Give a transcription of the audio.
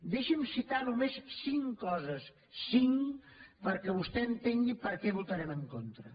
deixi’m citar només cinc coses cinc perquè vostè entengui per què votarem en contra